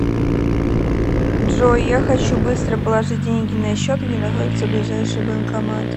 джой я хочу быстро положить деньги на счет где находится ближайший банкомат